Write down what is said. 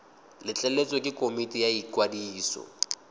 letleletswe ke komiti ya ikwadiso